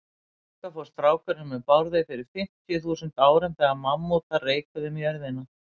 Þangað fór strákurinn með Bárði fyrir fimmtíu þúsund árum, þegar mammútar reikuðu um á jörðinni.